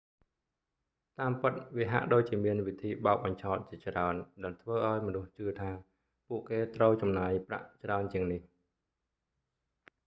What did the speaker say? តាមពិត វាហាក់ដូចជាមានវិធីបោកបញ្ឆោតជាច្រើនដែលធ្វើឲ្យមនុស្សជឿថាពួកគេត្រូវចំណាយប្រាក់ច្រើនជាងនេះ